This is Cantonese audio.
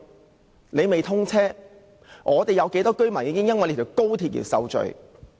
即使尚未通車，本港有多少居民已因為興建高鐵而受罪？